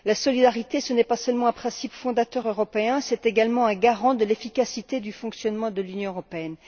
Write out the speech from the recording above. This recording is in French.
La solidarité, ce n'est pas seulement un principe fondateur européen, c'est également un garant de l'efficacité du fonctionnement de l'Union européenne.